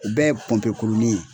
U bɛ ye pɔnpekurunin ye.